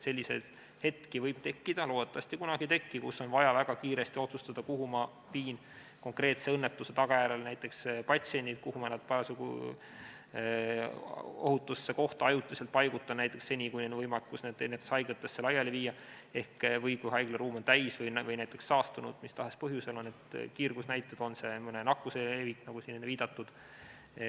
Selliseid hetki võib tekkida – loodetavasti kunagi ei teki –, kui on vaja väga kiiresti otsustada, kuhu viia konkreetse õnnetuse tagajärjel näiteks patsiendid, kuhu ohutusse kohta nad ajutiselt paigutada, näiteks seni, kuni tekib võimekus neid haiglatesse laiali viia, või kui haigla on täis või näiteks saastunud mis tahes põhjusel, on seal halvad kiirgusnäitajad või mõne nakkuse levik, nagu siin enne viidatud.